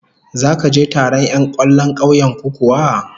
Zaka je taron 'yan kwallon kauyen ku kuwa?